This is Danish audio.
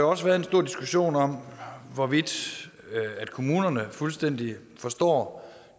også været en stor diskussion om hvorvidt kommunerne fuldstændig forstår